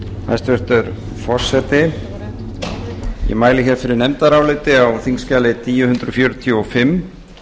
hæstvirtur forseti ég mæli fyrir nefndaráliti á þingskjali þúsund fjörutíu og fimm